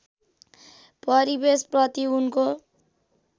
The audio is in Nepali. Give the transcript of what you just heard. परिवेश प्रति उनको